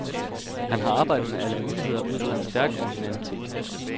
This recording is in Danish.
Han har arbejdet med alle muligheder ud fra en stærk originalitet.